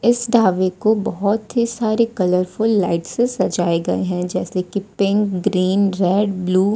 इस ढाबे को बहोत ही सारे कलर फुल लाइट से सजाए गए हैं जैसे कि पिंक ग्रीन रेड ब्लू --